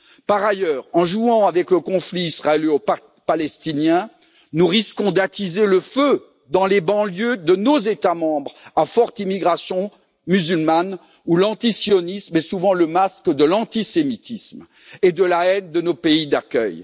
Par ailleurs, en jouant avec le conflit israélo palestinien, nous risquons d'attiser le feu dans les banlieues de nos États membres à forte immigration musulmane où l'antisionisme est souvent le masque de l'antisémitisme et de la haine de nos pays d'accueil.